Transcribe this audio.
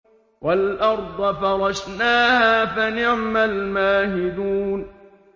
وَالْأَرْضَ فَرَشْنَاهَا فَنِعْمَ الْمَاهِدُونَ